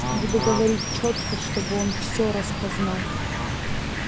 буду говорить чётко чтобы он всё распознал